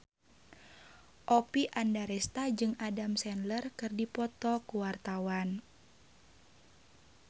Oppie Andaresta jeung Adam Sandler keur dipoto ku wartawan